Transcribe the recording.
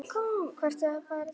Hvert eigum við að fara?